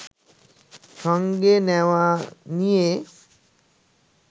সঙ্গে নেওয়া নিয়ে